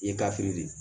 I ye gafe de ye